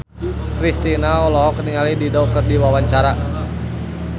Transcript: Kristina olohok ningali Dido keur diwawancara